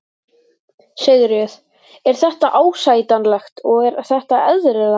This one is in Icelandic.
Sigríður: Er þetta ásættanlegt og er þetta eðlilegt?